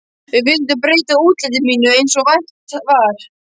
Við vildum breyta útliti mínu eins og hægt var.